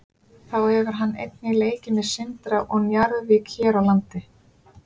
Þá hefur hann einnig leikið með Sindra og Njarðvík hér á landi.